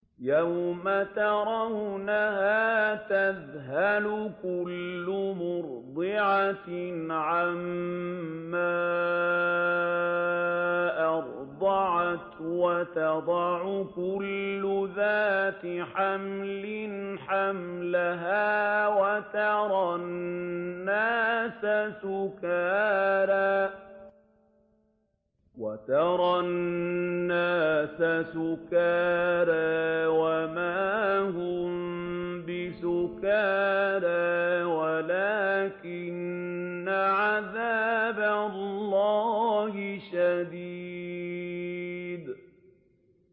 يَوْمَ تَرَوْنَهَا تَذْهَلُ كُلُّ مُرْضِعَةٍ عَمَّا أَرْضَعَتْ وَتَضَعُ كُلُّ ذَاتِ حَمْلٍ حَمْلَهَا وَتَرَى النَّاسَ سُكَارَىٰ وَمَا هُم بِسُكَارَىٰ وَلَٰكِنَّ عَذَابَ اللَّهِ شَدِيدٌ